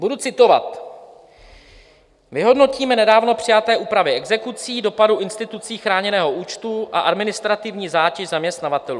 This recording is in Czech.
Budu citovat: "Vyhodnotíme nedávno přijaté úpravy exekucí, dopad institutu chráněného účtu a administrativní zátěž zaměstnavatelů.